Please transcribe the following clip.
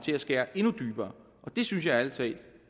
skæres endnu dybere og det synes jeg ærlig talt